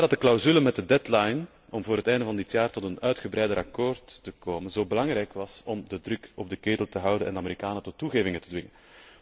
Vandaar dat de clausule met de deadline, om voor het einde van dit jaar tot een uitgebreider akkoord te komen, zo belangrijk was om de druk op de ketel te houden en de Amerikanen tot toegevingen te dwingen.